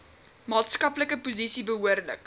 maatskaplike posisie behoorlik